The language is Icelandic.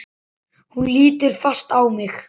Hún lítur fast á mig.